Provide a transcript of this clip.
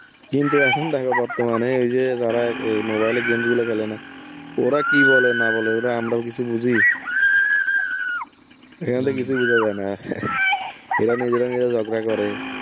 কিন্তু এখন দেখো বর্তমানে, এই যে যারা এই mobile এ games গুলো খেলে না, ওরা কি বলে না বলে ওরা আমরাও কিছু বুঝি? এখানে তো কিছু বোঝা যায় না. এরা নিজেরা নিজেরা ঝগড়া করে,